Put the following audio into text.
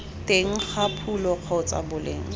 teng ga phulo kgotsa boleng